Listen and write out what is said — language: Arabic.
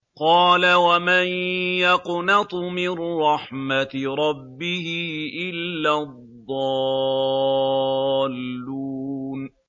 قَالَ وَمَن يَقْنَطُ مِن رَّحْمَةِ رَبِّهِ إِلَّا الضَّالُّونَ